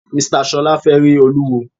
Mr Ṣọla fẹ rí Olúwo.